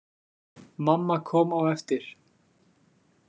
Mamma kom á eftir.